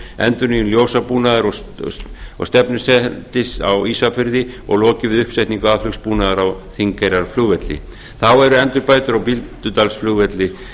endurnýjun ljósabúnaðar og stefnusendis á ísafirði og lokið við uppsetningu aðflugsbúnaðar á þingeyrarflugvelli þá eru endurbætur á bíldudalsflugvelli